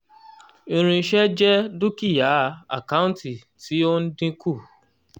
irinṣẹ́ jẹ́ dúkìá àkántì tí ó ń dínkù